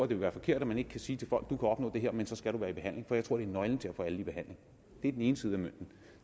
vil være forkert at man ikke kan sige til folk du kan opnå det her men så skal du være i behandling for jeg tror det er nøglen til at få alle i behandling det er den ene side af mønten